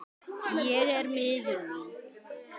Ég er miður mín.